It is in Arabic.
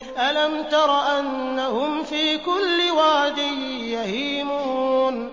أَلَمْ تَرَ أَنَّهُمْ فِي كُلِّ وَادٍ يَهِيمُونَ